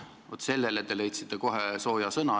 Vaat sellele te leidsite kohe sooja sõna.